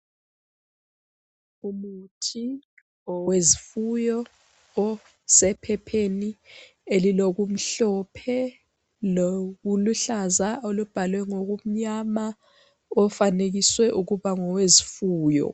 Umuthi owezifuyo osephepheni elilokumhlophe lokuluhlaza obhalwe ngamabala amnyama ofanekiswe ukuba ngowezifuyo.